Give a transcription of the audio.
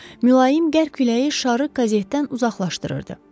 Mülayim qərq küləyi şarı qazetdən uzaqlaşdırırdı.